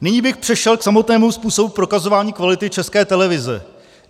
Nyní bych přešel k samotnému způsobu prokazování kvality České televize.